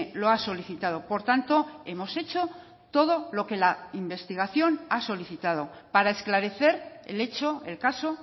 lo ha solicitado por tanto hemos hecho todo lo que la investigación ha solicitado para esclarecer el hecho el caso